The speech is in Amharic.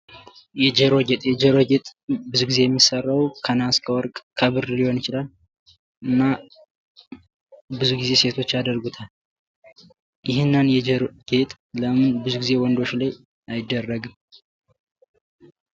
የጆሮ ጌጥ የጆሮ ጌጥ ብዙ ግዜ የሚሰራው ከነሃስ፣ ከወርቅ፣ ከብር ሊሆን ይችላል። እና ብዙ ጊዜ ሴቶች ያደርጉታል። ይህንን የጆሮ ለምን ብዙ ጊዜ ወንዶች ላይ አይደረግም?